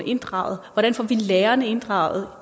inddraget hvordan får vi lærerne inddraget